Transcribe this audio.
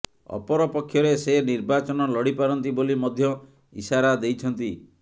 ଅପରପକ୍ଷରେ ସେ ନିର୍ବାଚନ ଲଢ଼ିପାରନ୍ତି ବୋଲି ମଧ୍ୟ ଇସାରା ଦେଇଛନ୍ତି